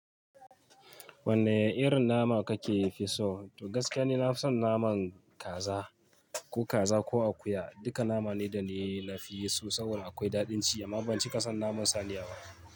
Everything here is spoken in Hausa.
Wanne irin nama kake fi so? To gaskiya ne na fi son naman kaza, ko kaza, ko akuya. Duka nama ne da ne, na fi so saboda akwai daɗin ci amma ban cika son naman saniya ba.